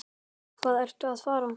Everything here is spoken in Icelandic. Hvað ertu að fara?